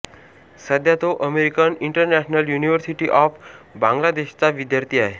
सध्या तो American international university of बांगलादेशचा विद्यार्थी आहे